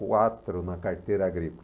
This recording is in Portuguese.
Quatro na carteira agrícola.